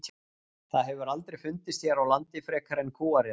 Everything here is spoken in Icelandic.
Það hefur aldrei fundist hér á landi frekar en kúariðan.